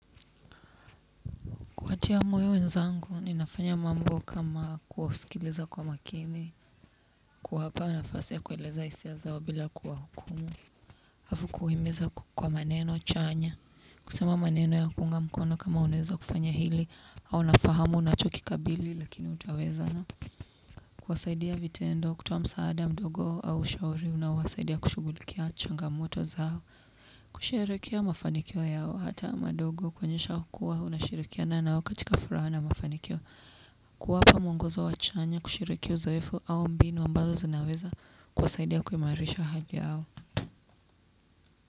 Kuwatia moyo wenzangu ninafanya mambo kama kuwasikiliza kwa makini, kuwapa nafasi ya kueleza hisia zao bila kuwahukumu. Afu kuhimiza kwa maneno chanya, kusema maneno ya kuunga mkono kama uneza kufanya hili au nafahamu nachokikabili lakini utawezana. Kuwasaidia vitendo, kutoa msaada mdogo au ushawari unaowasaidia kushugulikia changamoto zao. Kusherekea mafanikio yao hata madogo kwonesha kuwa unashirikiana nao katika furaha na mafanikio. Kuwapa mwongozo wa chanya kushiriki uzoefu au mbinu ambazo zinaweza kuwasaidia kuimarisha haja yao.